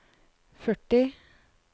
førti